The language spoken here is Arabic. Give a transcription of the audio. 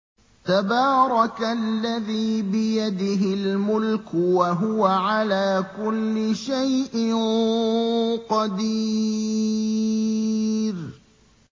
تَبَارَكَ الَّذِي بِيَدِهِ الْمُلْكُ وَهُوَ عَلَىٰ كُلِّ شَيْءٍ قَدِيرٌ